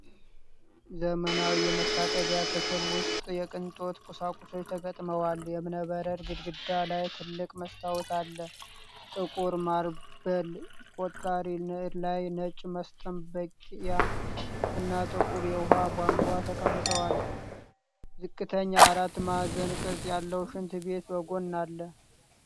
ዘመናዊ የመታጠቢያ ክፍል ውስጥ የቅንጦት ቁሳቁሶች ተገጥመዋል። የእብነበረድ ግድግዳ ላይ ትልቅ መስታወት አለ። ጥቁር ማርበል ቆጣሪ ላይ ነጭ መስጠብያ እና ጥቁር የውሃ ቧንቧ ተቀምጠዋል። ዝቅተኛ አራት ማዕዘን ቅርጽ ያለው ሽንት ቤት በጎን አለ።